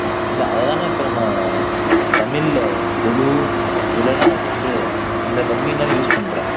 இல்ல அதை தானே நம்ம தமிழ்ல கொலு இதுலெல்லாம் நம்ம வந்து இந்த பொம்மையும்தான யூஸ் பண்றோம்